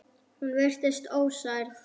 Hún virtist ósærð.